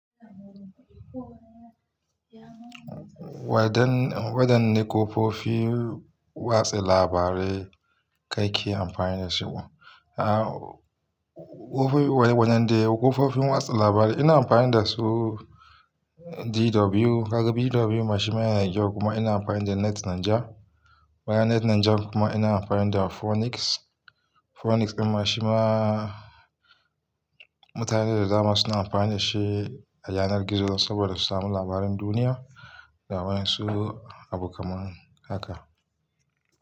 Wadanne kafofin watsa labarai ka ke amfani da su? Aaa, kafofin wa, wane, wane ne kofofi watsa labarai ina amfani da su? DW, kaga DW mashima yana da kyau kuma ina amfani da Net Nigeria. Bayan Net Nigeria kuma ina amfani da Phoenix. Phoenix ɗin mashima mutane da dama suna amfani da shi a yanar gizo saboda su sami labaran duniya da waƴansu abu kamar haka.